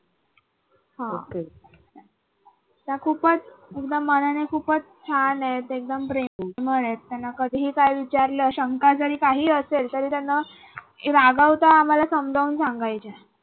हा त्या खूपच एकदम मनाने खूपच छान आहेत एकदम प्रेमळ आहेत. त्यांना कधी काही विचारलं शंका जरी काही असेल तरी त्यांना न रागावता आम्हाला समजावून सांगायच्या.